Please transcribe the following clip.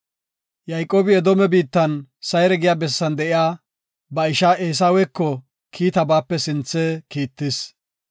Yayqoobi Edoome biittan Sayre giya bessan de7iya ba isha Eesaweko kiita baape sinthe kiittis.